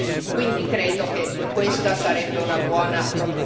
Quindi credo che questa sarebbe una buona proposta.